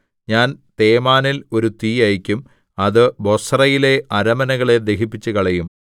ഞാൻ തേമാനിൽ ഒരു തീ അയയ്ക്കും അത് ബൊസ്രയിലെ അരമനകളെ ദഹിപ്പിച്ചുകളയും